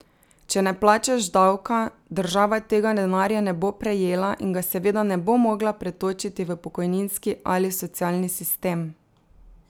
Če ne plačaš davka, država tega denarja ne bo prejela in ga seveda ne bo mogla pretočiti v pokojninski ali socialni sistem.